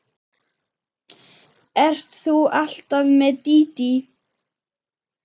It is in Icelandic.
Ert þú alltaf með Dídí?